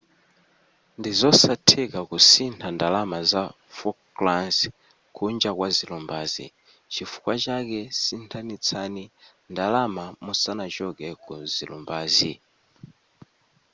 ndizosatheka kusintha ndalama za falklands kunja kwa zilumbazi chifukwa chake sinthanitsani ndalama musanachoke kuzilumbazi